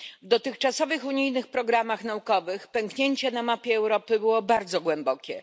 W dotychczasowych unijnych programach naukowych pęknięcie na mapie Europy było bardzo głębokie.